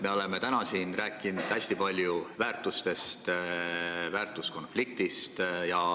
Me oleme täna siin rääkinud hästi palju väärtustest ja väärtuskonfliktist.